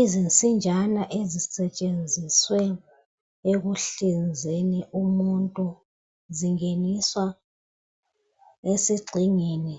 Izinsinjana ezisetshenziswe ekuhlinzeni umuntu zingeniswa esigxingini